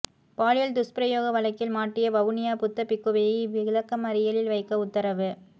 பாலியல் துஷ்பிரயோக வழக்கில் மாட்டிய வவுனியா புத்த பிக்குவை விளக்கமறியலில் வைக்க உத்தரவு